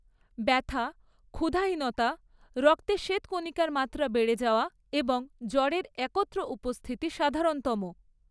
ব্যথা, ক্ষুধাহীনতা, রক্তে শ্বেতকণিকার মাত্রা বেড়ে যাওয়া এবং জ্বরের একত্র উপস্থিতি সাধারণতম।